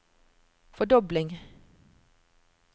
fordobling